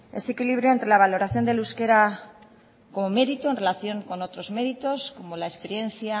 ese equilibrio entre la valoración del euskera como mérito en relación con otros méritos como la experiencia